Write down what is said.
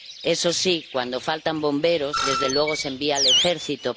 Eso sí, cuando faltan bomberos, desde luego, se envía al ejército.